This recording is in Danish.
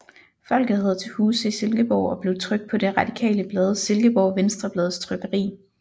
Folket havde til huse i Silkeborg og blev trykt på det radikale blad Silkeborg Venstreblads trykkeri